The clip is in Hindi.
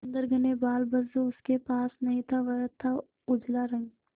सुंदर घने बाल बस जो उसके पास नहीं था वह था उजला रंग